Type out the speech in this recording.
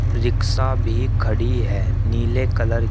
rickshaw भी खड़ी है नीले कलर --